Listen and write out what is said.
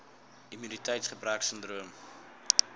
immuniteits gebrek sindroom